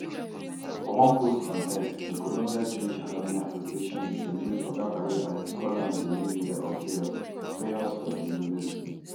for one post on x di columbia jewish alumni association bin celebrate oga khalil arrest call am di ringleader of chaos chaos for di university